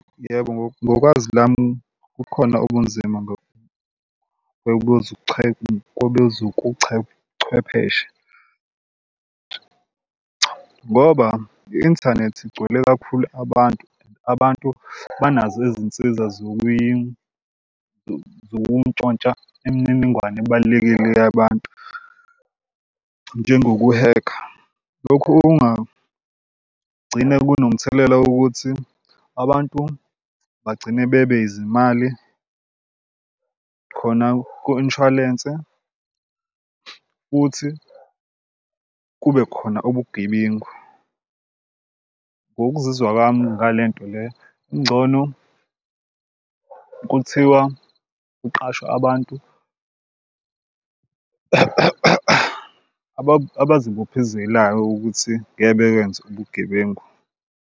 Yebo, ngokwazi lami kukhona ubunzima kwezobuchwepheshe ngoba i-inthanethi igcwele kakhulu abantu and abantu banazo izinsiza zokuntshontsha imininingwane ebalulekile yabantu. Njengokuhekha lokhu okungagcina kunomthelela wokuthi abantu bagcine bebe izimali khona ku-inshwalense futhi kube khona ubugebengu. Ngokuzizwa kwami ngale nto le ingcono kuthiwa kuqashwe abantu abazibophezelayo ukuthi ngeke bekwenze ubugebengu.